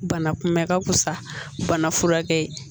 Bana kunbɛn ka wusa bana furakɛ